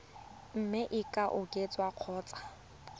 mme e ka oketswa kgotsa